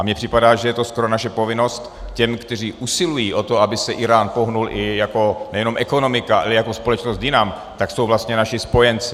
A mně připadá, že je to skoro naše povinnost těm, kteří usilují o to, aby se Írán pohnul i jako nejenom ekonomika, ale jako společnost jinam, tak jsou vlastně naši spojenci.